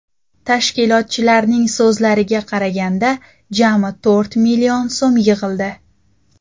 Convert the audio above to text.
Tashkilotchilarning so‘zlariga qaraganda, jami to‘rt million so‘m yig‘ildi.